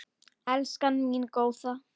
Elskan mín góða.